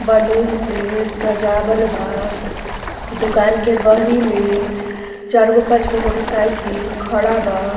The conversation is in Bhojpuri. बलून से सजावल बा। दुकान के बहरी में चार गो पांच गो मोटरसाइकिल खड़ा बा।